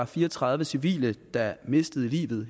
fire og tredive civile der mistede livet